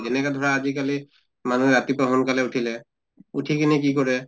যেনেকা ধৰা আজি কালি মানুহে ৰাতিপুৱা সোনকালে উঠিলে, উঠি কিনে কি কৰে